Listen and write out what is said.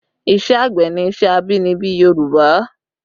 Ìṣe àgbẹ̀ ni iṣẹ́ abínibí Yorùbá